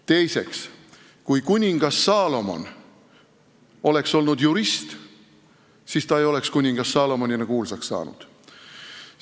Teiseks, kui kuningas Saalomon oleks olnud jurist, siis ta ei oleks kuningas Saalomonina kuulsaks saanud.